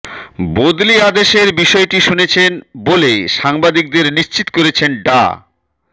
বদলি আদেশের বিষয়টি শুনেছেন বলে সাংবাদিকদের নিশ্চিত করেছেন ডা